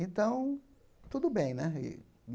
Então, tudo bem, né?